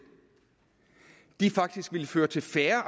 faktisk ville føre til færre